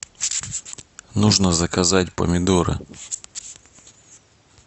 нужно заказать помидоры